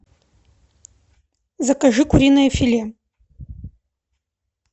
закажи куриное филе